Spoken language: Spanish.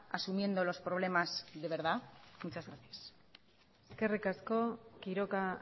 asumiendo los problemas de verdad muchas gracias eskerrik asko quiroga